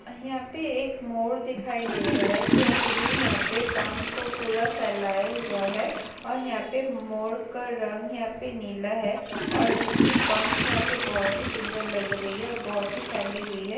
यहाँ पे एक मोर दिखाई दे रहा है जो अपने यहाँ पे पंख को पूरा फैलाये हुआ है और यहाँ पे मोर का रंग यहाँ पे नीला है और उसकी पंख यहाँ पे बहुत ही सुंदर लग रही है और बहुत ही फैली हुई है।